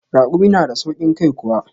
Raƙumi na da sauƙin kai kuwa?